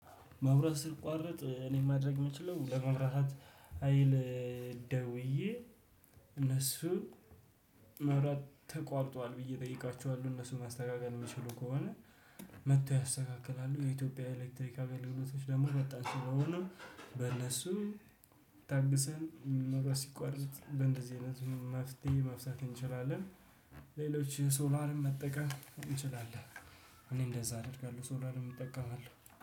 መብራት ሲቋረጥ እኔ ማድረግ የምችለው ለመብራት ሀይል ደውዬ እነሱ መብራት ተቋርጧል ብዬ እጠይቃችኋለሁ እነሱን ማስተካከል የሚችሉ ከሆነ መጥቶ ያስተካክላሉ የኢትዮጵያ ኤሌክትሪክ አገልግሎቶች ደግሞ መጣችሁ ለሆነው በእነሱ ታግሰን መብራት ሲቋረጥ በእንደዚህ አይነት መፍትሄ መፍታት እንችላለን። ሌሎች ሶላርን መጠቀም እንችላለን። እኔ እንደዛ አደርጋለሁ ሶላርም እጠቀማለሁ